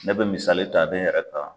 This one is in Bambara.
Ne bɛ misali ta n yɛrɛ kan.